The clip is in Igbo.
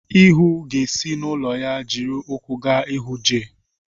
Ihuu ga-esi n'ụlọ ya jiri ụkwụ gaa hụ Jay.